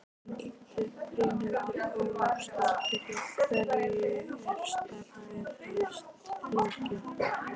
Brynhildur Ólafsdóttir: Í hverju er starfið helst fólgið?